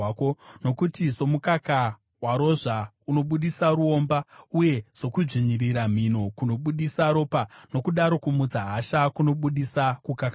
Nokuti somukaka warozva unobudisa ruomba, uye sokudzvinyirira mhino kunobudisa ropa, nokudaro kumutsa hasha kunobudisa kukakavara.”